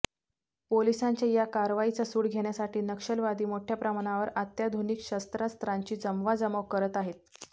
पोलिसांच्या या कारवाईचा सूड घेण्यासाठी नक्षलवादी मोठ्या प्रमाणावर अत्याधुनिक शस्त्रांस्त्रांची जमवाजमव करत आहेत